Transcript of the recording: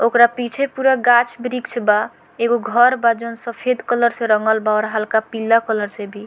ओकरा पीछे पूरा गाछ-बृक्ष बा एकगो घर बा जोन सफ़ेद कलर से रंगल बाऔर हल्का पीला कलर से भी।